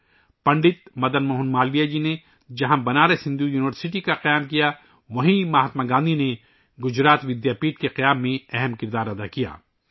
جہاں پنڈت مدن موہن مالویہ نے بنارس ہندو یونیورسٹی کی بنیاد رکھی، وہیں مہاتما گاندھی نے گجرات ودیا پیٹھ کی تعمیر میں اہم کردار ادا کیا